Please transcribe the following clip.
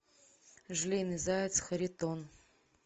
желейный заяц харитон